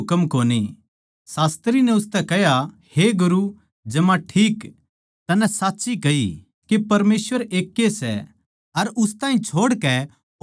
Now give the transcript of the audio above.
शास्त्री नै उसतै कह्या हे गुरू जमा ठीक तन्नै साच्ची कही के परमेसवर एकए सै अर उस ताहीं छोड़कै और कोए कोनी